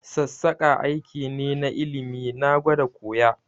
Sassaƙa aiki ne na ilimi, na gwada koya